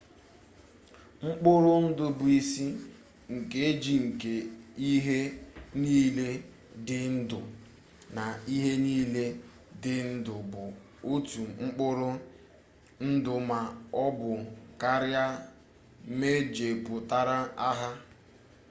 mkpụrụ ndụ bụ isi nkeji nke ihe niile dị ndụ na ihe niile dị ndụ bụ otu mkpụrụ ndụ ma ọ bụ karịa mejupụtara ha